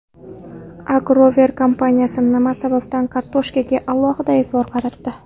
Agrover kompaniyasi nima sababdan kartoshkaga alohida e’tibor qaratdi?